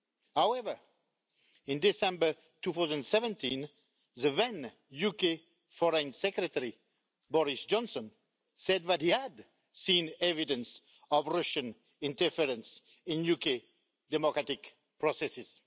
However, in December 2017, the then UK Foreign Secretary Boris Johnson said that he had seen evidence of Russian interference in UK democratic processes.